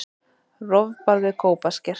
Rofbarð við Kópasker.